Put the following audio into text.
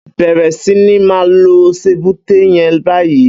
Bẹrẹ si ni mà lò sébùté yèn bàyi